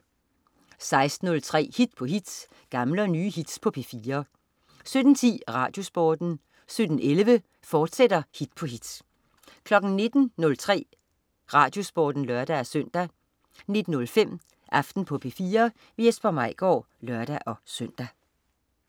16.03 Hit på hit. Gamle og nye hits på P4 17.10 RadioSporten 17.11 Hit på hit, fortsat 19.03 RadioSporten (lør-søn) 19.05 Aften på P4. Jesper Maigaard (lør-søn)